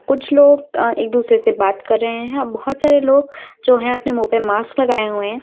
कुछ लोग अ एक दूसरे से बात कर रहे हैं बहुत सारे लोग जो है अपने मुंह पर मार्क्स लगाए हुए हैं।